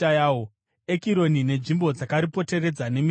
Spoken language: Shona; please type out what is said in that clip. Ekironi, nenzvimbo dzakaripoteredza nemisha yaro;